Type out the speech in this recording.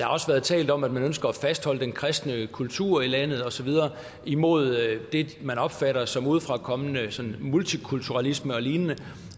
har også været talt om at man ønsker at fastholde den kristne kultur i landet og så videre imod det man opfatter som en udefrakommende sådan multikulturalisme og lignende